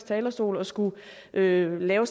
talerstol og skulle lave lave